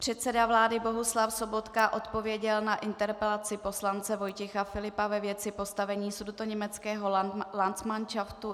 Předseda vlády Bohuslav Sobotka odpověděl na interpelaci poslance Vojtěcha Filipa ve věci postavení sudetoněmeckého landsmanšaftu.